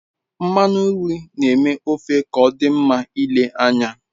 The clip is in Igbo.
Nmanu nri n'eme ofe k'odi nma ile anya